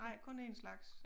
Ej kun 1 slags